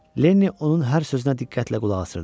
Lenni onun hər sözünə diqqətlə qulaq asırdı.